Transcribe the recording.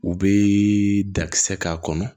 U bɛ dakisɛ k'a kɔnɔ